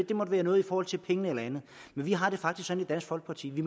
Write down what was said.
det måtte være noget i forhold til pengene eller andet men vi har det faktisk sådan i dansk folkeparti at vi